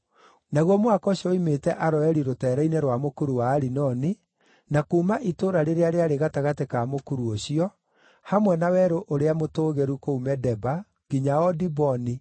Naguo mũhaka ũcio woimĩte Aroeri rũteere-inĩ rwa mũkuru wa Arinoni, na kuuma itũũra rĩrĩa rĩarĩ gatagatĩ ka mũkuru ũcio, hamwe na werũ ũrĩa mũtũũgĩru kũu Medeba, nginya o Diboni,